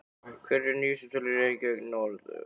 Hverjar eru nýjustu tölur í Reykjavík norður?